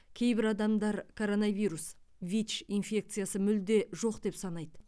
кейбір адамдар коронавирус вич инфекциясы мүлде жоқ деп санайды